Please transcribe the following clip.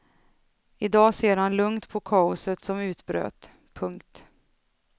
I dag ser han lugnt på kaoset som utbröt. punkt